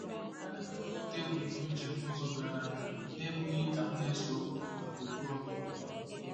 Ana m ekwupụta ebumnuche m n'ụzọ doro anya n'ebughị ka m na-ese okwu na gburugburu ndọrọndọrọ